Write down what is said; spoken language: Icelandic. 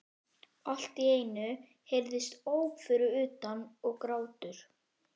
Allt í einu heyrðust óp fyrir utan- og grátur.